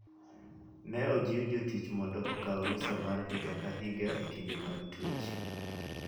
Ne ojiw jotich mondo okaw rusa mar higa ka higa e kinde mag twech.